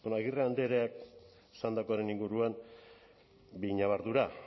agirre andreak esandakoaren inguruan bi ñabardura